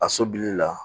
A sobili la